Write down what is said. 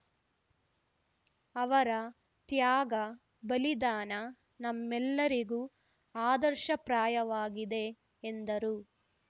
ಅವರ ತ್ಯಾಗ ಬಲಿದಾನ ನಮ್ಮೆಲ್ಲರಿಗೂ ಆದರ್ಶಪ್ರಾಯವಾಗಿದೆ ಎಂದರು